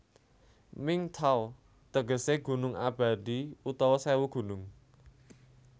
Mingi Taw tegesé gunung abadi utawa sèwu gunung